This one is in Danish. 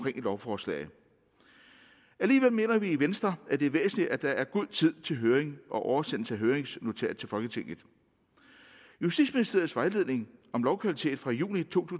et lovforslag alligevel mener vi i venstre at det er væsentligt at der er god tid til høring og oversendelse af høringsnotat til folketinget justitsministeriets vejledning om lovkvalitet fra juni to